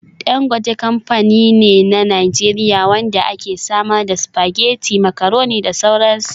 Dangote kamfani ne na Najeriya wanda ke samar da spaghetti, macaroni da sauran su.